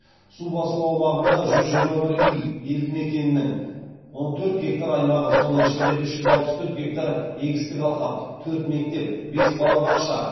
су басу аумағында жүз жиырма бір үй елді мекеннің он төрт гектар аймағы соның ішінде үш жүз алпыс төрт егістік алқап төрт мектеп бес балабақша